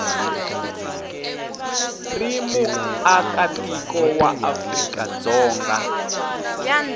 ri muakatiko wa afrika dzonga